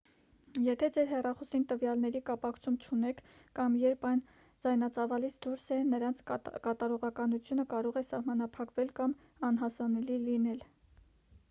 եթե ձեր հեռախոսին տվյալների կապակցում չունեք կամ երբ այն ձայնածավալից դուրս է նրանց կատարողականությունը կարող է սահմանափակվել կամ անհասանելի լինել